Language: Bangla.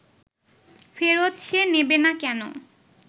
ফেরত সে নেবে না কেন